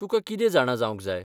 तुका कितें जाणा जावंक जाय?